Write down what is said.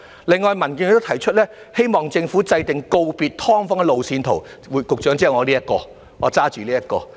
另外，民建聯亦提出希望政府制訂告別"劏房"的路線圖——局長，就是我手上拿着這一塊牌子上寫着的。